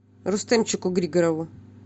рустемчику григорову